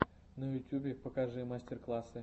на ютюбе покажи мастер классы